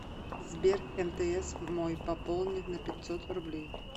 сбер мтс мой пополни на пятьсот рублей